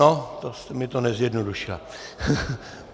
No, to jste mi to nezjednodušila.